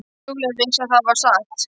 Júlía vissi að það var satt.